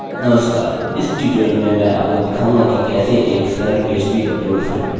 नमस्कार इस टयूटोरियल में मैं आपको दिखाऊँगा कि कैसे एक सरल php अपलोड स्क्रिप्ट बनाएँ